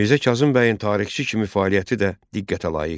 Mirzə Kazım bəyin tarixçi kimi fəaliyyəti də diqqətə layiqdir.